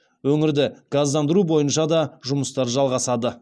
өңірді газдандыру бойынша да жұмыстар жалғасады